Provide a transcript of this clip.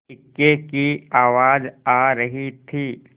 इक्के की आवाज आ रही थी